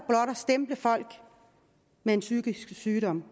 stemple folk med en psykisk sygdom